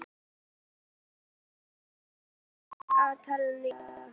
Eyfríður, hvað er í dagatalinu í dag?